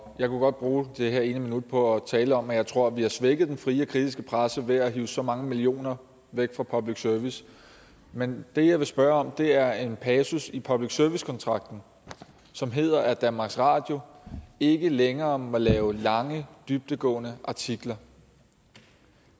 jeg kunne godt bruge det her ene minut på at tale om at jeg tror at vi har svækket den frie og kritiske presse ved at hive så mange millioner væk fra public service men det jeg vil spørge om er til en passus i public service kontrakten som hedder at danmarks radio ikke længere må lave lange dybdegående artikler